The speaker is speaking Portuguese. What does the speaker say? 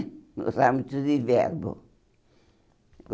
Gostava muito de verbo.